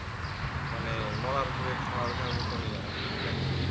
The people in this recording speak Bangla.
মানে মরার উপরে খাঁড়ার ঘার মতনই আর কি দেখায়